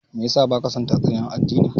Me yasa baka son tatsuniya addini?